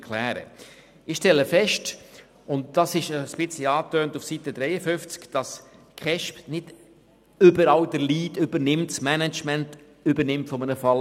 Ich stelle fest, dass die KESB den Lead und das Management eines Falles nicht überall übernimmt, wo sie das eigentlich wahrnehmen sollte.